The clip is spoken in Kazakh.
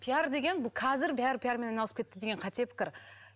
пиар деген бұл қазір бәрі пиармен айналысып кетті деген қате пікір